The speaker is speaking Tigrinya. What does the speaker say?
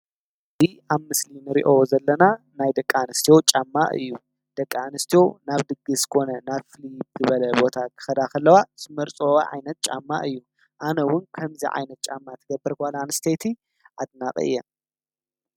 እዚ ኣብ ምስሊ እንሪኦ ዘለና ናይ ደቂ ኣንስትዮ ጫማ እዩ። ደቂ ኣንስትዮ ናብ ድግስ ኮነ ናብ ዝተፈላለየ ቦታ ክኸዳ ከለዋ ዝመርፅኦ ዓይነት ጫማ እዩ። ኣነ ውን ከምዚ ዓይነት ጫማ ትገብር ጓል አንስተይቲ ኣድናቂ እየ።